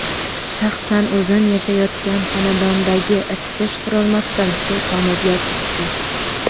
Shaxsan o‘zim yashayotgan xonadondagi isitish qurilmasidan suv tomib yotibdi.